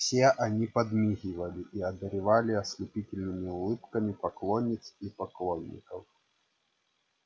все они подмигивали и одаривали ослепительными улыбками поклонниц и поклонников